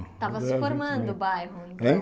Estava se formando o bairro. Hein